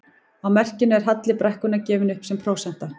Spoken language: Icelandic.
Á merkinu er halli brekkunnar gefinn upp sem prósenta.